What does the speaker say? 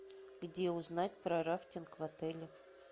где узнать про рафтинг в отеле